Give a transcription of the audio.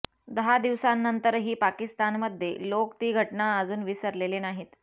दहा दिवसांनंतरही पाकिस्तानमध्ये लोक ती घटना अजून विसरलेले नाहीत